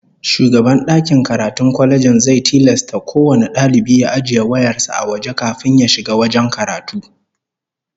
Shugaban dakin karatun kwalejin zai tilasta kowane dalibi ya ajiye wayar sa a waje kafin ya shiga wajen karatu